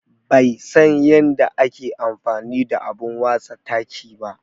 Bai san yanda ake amfani da abun watsa taki ba.